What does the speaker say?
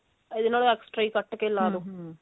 ਇਹਦੇ ਨਾਲੋ extra ਹੀ ਘੱਟ ਕੇ ਲਾ ਦੋ